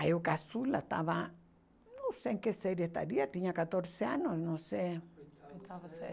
Aí o caçula estava, não sei em que série estaria, tinha quatorze anos, não sei. Oitava série